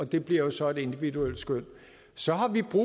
det bliver jo så et individuelt skøn så har vi brug